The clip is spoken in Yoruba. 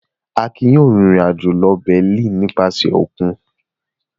Akin yóò rìnrìn-àjò lọ Berlin nípasẹ̀ òkun.